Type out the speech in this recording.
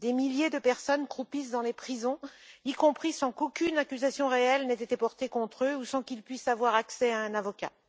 Des milliers de personnes croupissent dans les prisons, y compris sans qu'aucune accusation réelle n'ait été portée contre eux ou sans qu'ils puissent avoir accès à un avocat.